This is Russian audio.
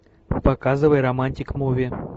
показывай романтик муви